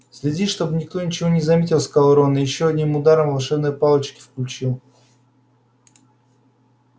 следи чтобы никто ничего не заметил сказал рон и ещё одним ударом волшебной палочки включил